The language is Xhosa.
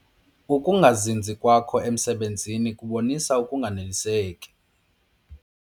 Uukungazinzi kwakho emisebenzini kubonisa ukunganeliseki.